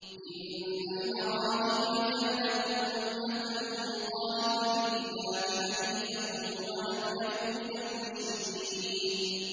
إِنَّ إِبْرَاهِيمَ كَانَ أُمَّةً قَانِتًا لِّلَّهِ حَنِيفًا وَلَمْ يَكُ مِنَ الْمُشْرِكِينَ